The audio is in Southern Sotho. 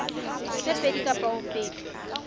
tse pedi kapa ho feta